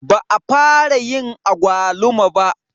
Ba a fara yayin agwaluma ba.